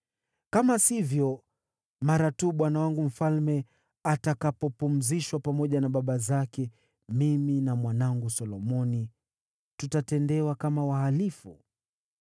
Kama sivyo, mara tu bwana wangu mfalme atakapopumzishwa pamoja na baba zake, mimi na mwanangu Solomoni tutatendewa kama wahalifu.”